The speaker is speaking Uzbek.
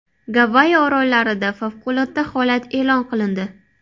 Gavayi orollarida favqulodda holat e’lon qilindi.